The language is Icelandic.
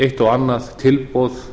eitt og annað tilboð